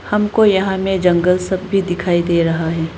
हमको यहां में जंगल सब भी दिखाई दे रहा है।